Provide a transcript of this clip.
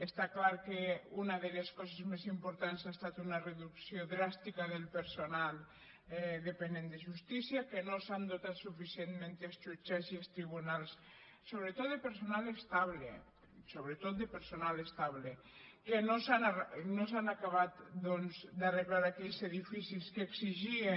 està clar que una de les coses més importants ha estat una reducció dràstica del personal dependent de justícia que no s’han dotat suficientment els jutjats i els tribunals sobretot de personal estable sobretot de personal estable que no s’han acabat doncs d’arreglar aquells edificis que exigien